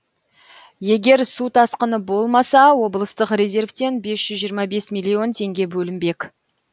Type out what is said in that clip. егер су тасқыны болмаса облыстық резервтен бес жүз жиырма бес миллион теңге бөлінбек